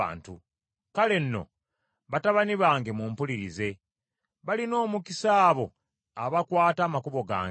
Kale nno, batabani bange mumpulirize; balina omukisa abo abakwata amakubo gange!